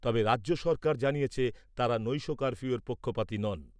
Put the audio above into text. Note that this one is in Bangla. তবে, রাজ্য সরকার জানিয়েছে, তাঁরা নৈশ কার্ফিউয়ের পক্ষপাতি নন।